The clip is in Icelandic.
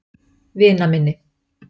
Vinaminni